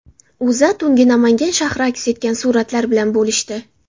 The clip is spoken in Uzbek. O‘zA tungi Namangan shahri aks etgan suratlar bilan bo‘lishdi .